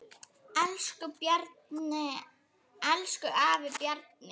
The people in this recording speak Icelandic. Elsku afi Bjarni.